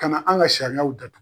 Kana an ka sariyaw datu.